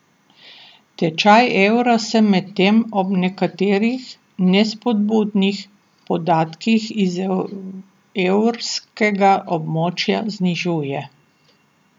Tečaj evra se medtem ob nekaterih nespodbudnih podatkih iz evrskega območja znižuje.